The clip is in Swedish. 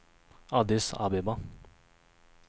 Addis Abeba